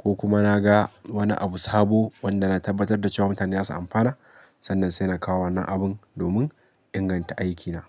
ko kuma na ga wani abu sabo wanda na tabbatar da cewa mutane za su amfana. Sannan sai na kawo wannan abin domin inganta aikina.